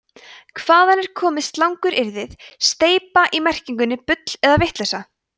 hvaðan er komið slanguryrðið „steypa í merkingunni bull eða vitleysa